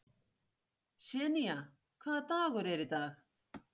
Senía, hvaða dagur er í dag?